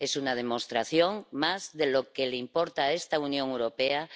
Es una demostración más de que lo que le importa a esta Unión Europea